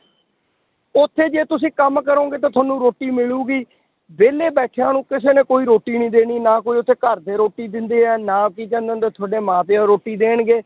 ਉੱਥੇ ਜੇ ਤੁਸੀਂ ਕੰਮ ਕਰੋਂਗੇ ਤਾਂ ਤੁਹਾਨੂੰ ਰੋਟੀ ਮਿਲੇਗੀ, ਵਿਹਲੇ ਬੈਠਿਆਂ ਨੂੰ ਕਿਸੇ ਨੇ ਕੋਈ ਰੋਟੀ ਨੀ ਦੇਣੀ ਨਾ ਕੋਈ ਉੱਥੇ ਘਰਦੇ ਰੋਟੀ ਦਿੰਦੇ ਹੈ, ਨਾ ਕੀ ਕਹਿੰਦੇ ਹੁੰਦੇ ਆ ਤੁਹਾਡੇ ਮਾਂ ਪਿਓ ਰੋਟੀ ਦੇਣਗੇ,